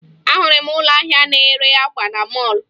Ahụrụ m ụlọ ahịa na-ere akwa na mọọlụ